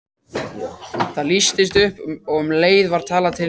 Það lýstist upp og um leið var talað til mín.